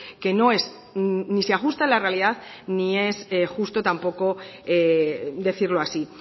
que no es ni se ajusta a la realidad ni es justo tampoco decirlo así